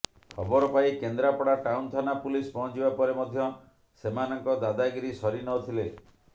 ଖବର ପାଇ କେନ୍ଦ୍ରାପଡ଼ା ଟାଉନ ଥାନା ପୁଲିସ୍ ପହଞ୍ଚିବା ପରେ ମଧ୍ୟ ସେମାନଙ୍କ ଦାଦାଗିରି ସରି ନ ଥିଲେ